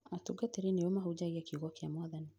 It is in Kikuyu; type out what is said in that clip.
Atungatĩri nĩo mahunjagia kiugo kĩa Mwathani